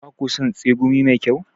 Ba ku son tsegumi mai kyau?